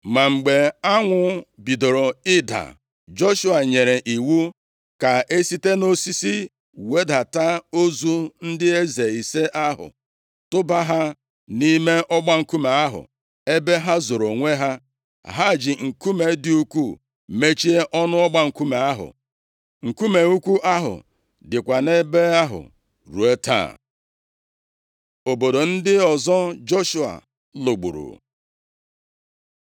Ma mgbe anwụ bidoro ịda, Joshua nyere iwu ka e site nʼosisi wedata ozu ndị eze ise ahụ, tụba ha nʼime ọgba nkume ahụ, ebe ha zoro onwe ha. Ha ji nkume dị ukwuu mechie ọnụ ọgba nkume ahụ. Nkume ukwuu ahụ dịkwa nʼebe ahụ ruo taa. Obodo ndị ọzọ Joshua lụgburu